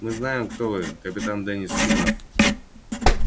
мы знаем кто вы капитан денис симонов